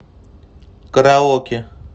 караоке